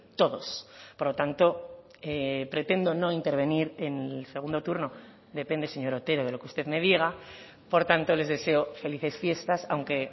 todos por lo tanto pretendo no intervenir en el segundo turno depende señor otero de lo que usted me diga por tanto les deseo felices fiestas aunque